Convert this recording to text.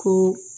Ko